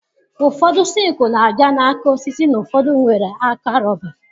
Ụfọdụ sikụlụ na-abịa na aka osisi na ụfọdụ nwere aka rọba.